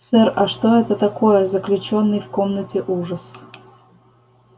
сэр а что это такое заключённый в комнате ужас